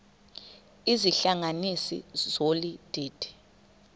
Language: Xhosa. izihlanganisi zolu didi